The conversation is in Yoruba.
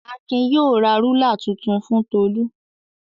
Akin yóò ra rúlà tuntun fún Tolú.